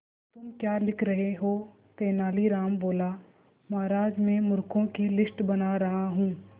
तुम क्या लिख रहे हो तेनालीराम बोला महाराज में मूर्खों की लिस्ट बना रहा हूं